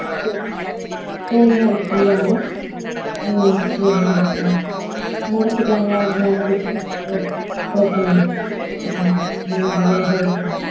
சேரி சேரிங்க ஹரிப்ரியா உம் சேரி ஹரிப்ரியா முடிச்சிக்கிங்களா ok நன்றிங்க ஹரிப்ரியா